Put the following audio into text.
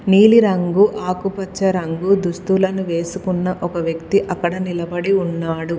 నీలి రంగు ఆకుపచ్చ రంగు దుస్తులను వేసుకున్న ఒక వ్యక్తి అక్కడ నిలబడి ఉన్నాడు.